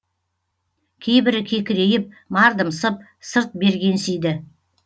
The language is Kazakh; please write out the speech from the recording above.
кейбірі кекірейіп мардымсып сырт бергенсиді